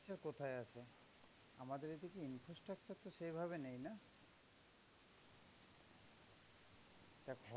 কোথায় আছে ? আমাদের এখনে infrastructure তো সেই ভাবে নেই না. দেখ